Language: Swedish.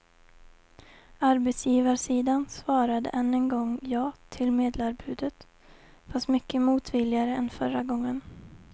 Arbetsgivarsidan svarade än en gång ja till medlarbudet, fast mycket motvilligare än förra gången.